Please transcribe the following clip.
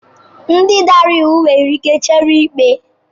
Ndị dara iwu nwere ike chere ikpe.